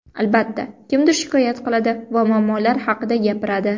Albatta, kimdir shikoyat qiladi va muammolar haqida gapiradi.